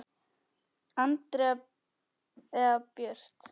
Andrea Björt.